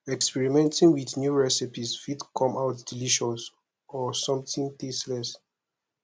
experimenting with new recipes fit come out delicious or something tasteless